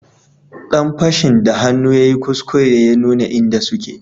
Dan fashin da hannu yayi kuskure ya nuna inda suke